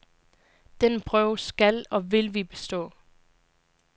Den prøve skal og vil vi bestå.